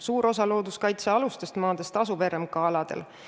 Suur osa looduskaitsealustest maadest asub RMK aladel.